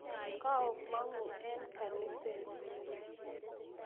Kaomongu eng kaniset